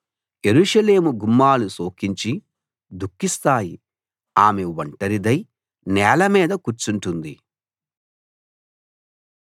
యెరూషలేము గుమ్మాలు శోకించి దుఃఖిస్తాయి ఆమె ఒంటరిదై నేల మీద కూర్చుంటుంది